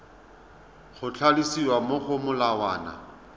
go tlhalosiwa mo go molawana